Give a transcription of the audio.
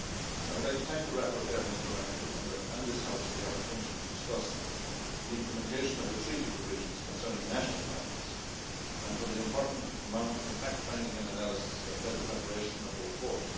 I would like to thank the rapporteur, Mr Rangel, and this House for the opportunity to discuss the implementation of the treaty provisions concerning national parliaments and for the important amount of fact finding and analysis that fed the preparation of the report.